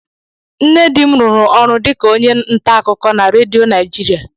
Nne di m rụrụ ọrụ dịka onye ntaakụkọ na redio Naijiria